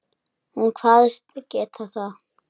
Hún kvaðst geta það.